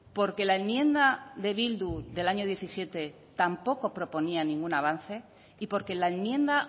porque la enmienda de bildu del año diecisiete tampoco proponía ningún avance y porque la enmienda